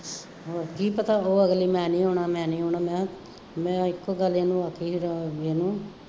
ਹੋਰ ਕੀ ਪਤਾ ਉਹ ਅਗਲੀ ਮੈਂ ਨਹੀਂ ਆਉਣਾ ਮੈਂ ਨਹੀਂ ਆਉਣਾ, ਮੈਂ ਇੱਕੋ ਗੱਲ ਇਹਨੂੰ ਆਖੀ ਸੀ ਰਮਨ ਦੂਜੇ ਨੂੰ